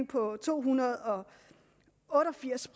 på to hundrede og otte og firs